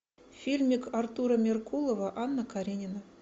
фильмик артура меркулова анна каренина